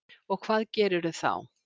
Og hvað gerirðu þá?